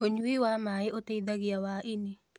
Ũnyũĩ wa mae ũteĩthagĩa wa ĩnĩ